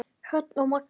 Hrönn og Magnús.